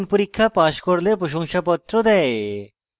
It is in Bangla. online পরীক্ষা pass করলে প্রশংসাপত্র দেয়